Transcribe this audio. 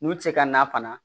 N'u tɛ se ka na fana